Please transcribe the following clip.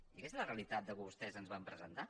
i aquesta és la realitat que vostès ens van presentar